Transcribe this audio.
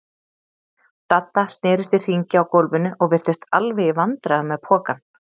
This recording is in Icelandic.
Dadda snerist í hringi á gólfinu og virtist alveg í vandræðum með pokann.